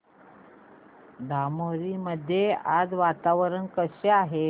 धामोरी मध्ये आज वातावरण कसे आहे